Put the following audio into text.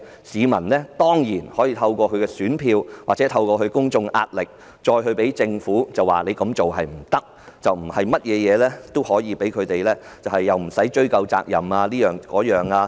市民當然可以透過選票或公眾壓力，向政府指出不能如此行事，不能對任何事也表示無須追究責任。